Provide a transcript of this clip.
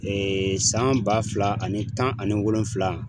san ba fila ani tan ani wolonwula